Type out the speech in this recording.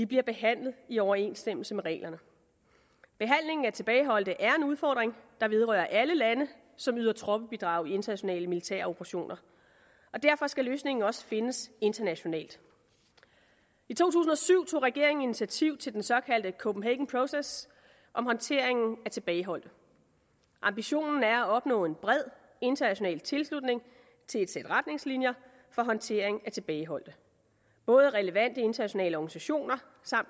bliver behandlet i overensstemmelse med reglerne behandlingen af tilbageholdte er en udfordring der vedrører alle lande som yder troppebidrag i internationale militære operationer derfor skal løsningen også findes internationalt i to tusind og syv tog regeringen initiativ til den såkaldte copenhagen process om håndteringen af tilbageholdte ambitionen er at opnå en bred international tilslutning til et sæt retningslinjer for håndtering af tilbageholdte både relevante internationale organisationer